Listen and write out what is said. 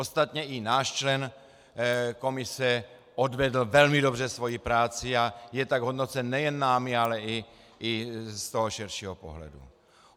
Ostatně i náš člen komise odvedl velmi dobře svoji práci a je tak hodnocen nejen námi, ale i z toho širšího pohledu.